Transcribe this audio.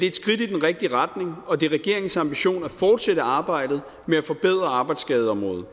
et skridt i den rigtige retning og det er regeringens ambition at fortsætte arbejdet med at forbedre arbejdsskadeområdet